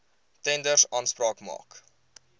tenders aanspraak maak